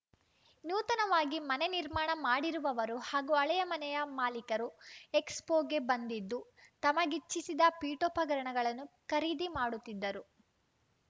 ನೂತನವಾಗಿ ಮನೆ ನಿರ್ಮಾಣ ಮಾಡಿರುವವರು ಹಾಗೂ ಹಳೆಯ ಮನೆಯ ಮಾಲಿಕರು ಎಕ್ಸ್‌ಫೋಗೆ ಬಂದಿದ್ದು ತಮಗಿಚ್ಚಿಸಿದ ಪೀಠೋಪಕರಣಗಳನ್ನು ಖರೀದಿ ಮಾಡುತ್ತಿದ್ದರು